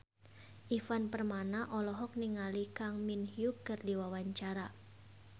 Ivan Permana olohok ningali Kang Min Hyuk keur diwawancara